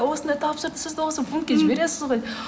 осындай сіз де осы пунктке жібересіз ғой